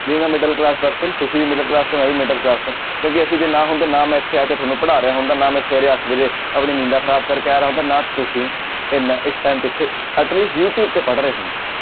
ਵੀ ਮੈਂ middle class person ਤੁਸੀਂ ਵੀ middle class ਤੋਂ ਮੈਂ ਵੀ middle class ਤੋਂ ਕਿਉਂਕਿ ਅਸੀਂ ਜੇ ਨਾ ਹੁੰਦੇ ਨਾ ਮੈਂ ਇੱਥੇ ਆ ਕੇ ਤੁਹਾਨੂੰ ਪੜ੍ਹਾ ਰਿਹਾ ਹੁੰਦਾ ਨਾ ਮੈਂ ਸਵੇਰੇ ਅੱਠ ਵਜੇ ਆਪਣੀ ਨੀਂਦਾਂ ਖ਼ਰਾਬ ਕਰਕੇ ਆ ਰਿਹਾ ਹੁੰਦਾ ਨਾ ਤੁਸੀਂ ਇੰਨਾ ਇਸ time ਇੱਥੇ ਯੂ ਟਿਉਬ ਤੇ ਪੜ੍ਹ ਰਹੇ ਹੁੰਦੇ।